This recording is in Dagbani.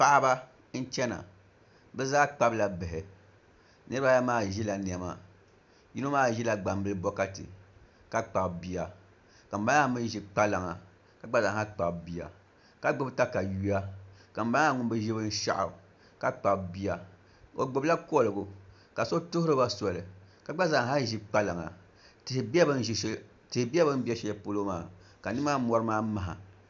Paɣaba n chɛna bi zaa kpabila bihi niraba ayi maa ʒila niɛma yino maa ʒila gbambilii bokati ka kpabi bia ka ŋunbala maa mii ʒi kpalaŋa ka gba zaa lahi kpabi bia ka gbubi katawiya ka ŋunbala maa ŋun bi ʒi ka kpabi binshaɣu ka kpabi bia o gbubila koligu ka so tuhuriba soli ka gba zaa ha ʒi kpalaŋa tihi bɛ bi ni bɛ shɛli polo maa ka nimaani mori maa maha